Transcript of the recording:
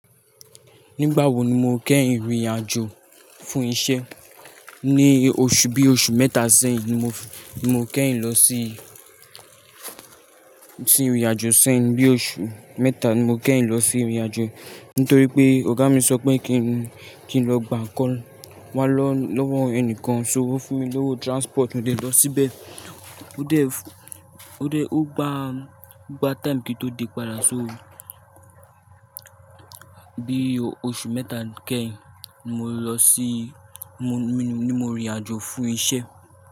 Nígbà wo ni mo kẹ́yin rìn-àjò fún isẹ́? Ni oṣù bí i oṣù mẹ́ta sẹ́yìn ni mo kẹ́yin losi, si rìn-àjò sẹ́yìn. Bí oṣù mẹ́ta ni mo kẹ́yìn lo si irìn àjò, nítorí pé ọ̀gá mi sọ pé kí n lọ gba ńkan, wa lọ lọ́wọ́ ẹnikan, so, o fún mi lówó transport mo dé lọ síbẹ̀. O de ó dé, ó gba, o gba time kí n tó dé padà. So bí oṣù mẹ́ta kẹ́yìn ni mo lọ sí, ni mo rìnrìn àjò fún isẹ́.